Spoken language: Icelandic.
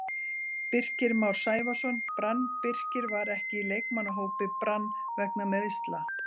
Birkir Már Sævarsson, Brann Birkir var ekki í leikmannahópi Brann vegna meiðsla.